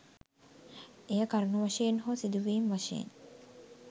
එය කරුණු වශයෙන් හෝ සිදුවීම් වශයෙන්